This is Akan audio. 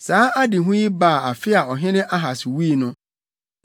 Saa adehu yi baa afe a ɔhene Ahas wui no: